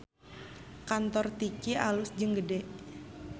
Kantor Tiki alus jeung gede